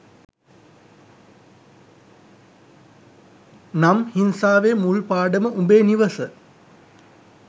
නම් හිංසාවේ මුල් පාඩම උඹේ නිවස